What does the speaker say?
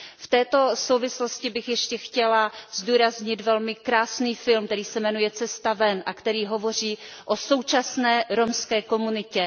V této souvislosti bych ještě chtěla zdůraznit velmi krásný film, který se jmenuje Cesta ven a který hovoří o současné romské komunitě.